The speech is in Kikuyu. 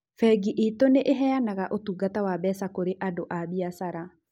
Bengi itũ nĩ ĩheanaga ũtungata wa mbeca kũrĩ andũ a biacara.